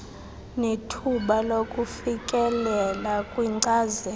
nethuba lokufikelela kwinkcazelo